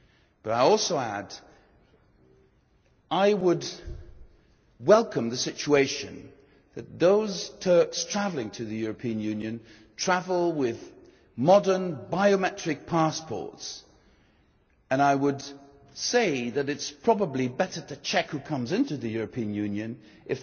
But I also add that I would welcome the situation where those Turks travelling to the European Union travel with modern biometric passports, and I would say that it is probably better to check who comes into the European Union with